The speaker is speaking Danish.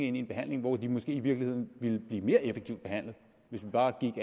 ind i en behandling hvor de måske i virkeligheden ville blive mere effektivt behandlet hvis vi bare gik